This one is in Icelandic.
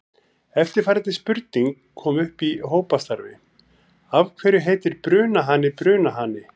Eftirfarandi spurning kom upp í hópastarfi: Af hverju heitir brunahani brunahani?